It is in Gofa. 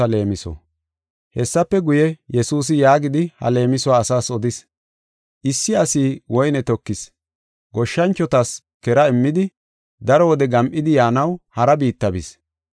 Hessafe guye, Yesuusi yaagidi ha leemisuwa asaas odis: “Issi asi woyne tokis. Goshshanchotas kera immidi daro wode gam7idi yaanaw hara biitta bis.